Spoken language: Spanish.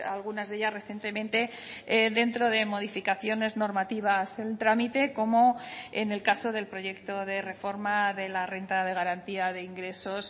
algunas de ellas recientemente dentro de modificaciones normativas en trámite como en el caso del proyecto de reforma de la renta de garantía de ingresos